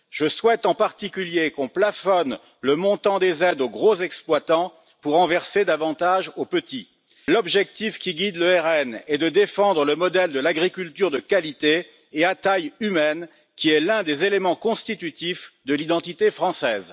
Je souhaite en particulier qu'on plafonne le montant des aides aux gros exploitants pour en verser davantage aux petits. L'objectif qui guide le RN est de défendre le modèle de l'agriculture de qualité et à taille humaine, qui est l'un des éléments constitutifs de l'identité française.